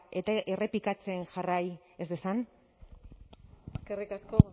eta errepikatzen jarrai ez dezan eskerrik asko